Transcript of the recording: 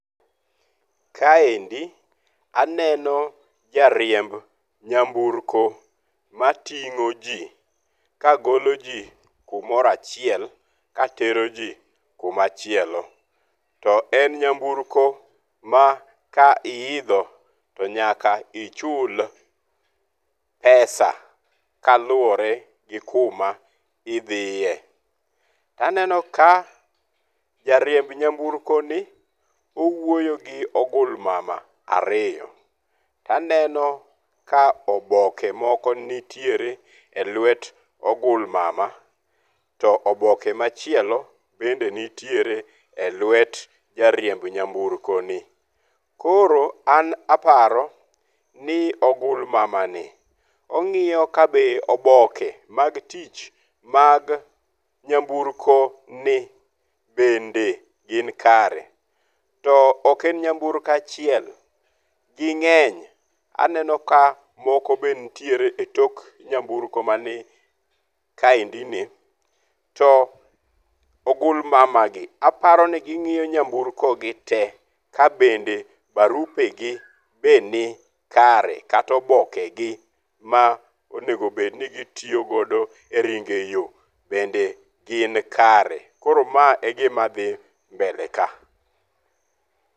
Kaendi aneno jariemb nyamburko mating'o ji kagolo ji kumoro achiel ka tero ji kumachielo. To en nyamburko ma ka iidho to nyaka ichul pesa kaluwore gi kuma idhiye. To aneno ka jariemb nyamburko ni owuoyo gi ogulmama ariyo. To aneno ka oboke moko nitiere e luet ogulmama to oboke machielo bende nitiere e luet jariemb nyamburko ni. Koro an aparo ni ogulmama ni ong'iyo ka be oboke mag tich mag nyamburko ni bende gin kare. To ok en nyamburko achiel, ging'eny. Aneno ka moko be nitiere e tok nyamburo mani kaendi ni. To ogulmama gi aparo ni ging'iyo nyamburko gi te ka bende barupe gi be ni kare kata oboke gi ma onegobed ni gitiyogo e ringo e yo bende gin kare. Koro ma e gima dhi mbele ka.